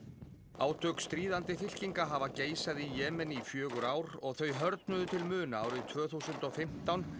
átök stríðandi fylkinga hafa geisað í Jemen í fjögur ár og þau til muna árið tvö þúsund og fimmtán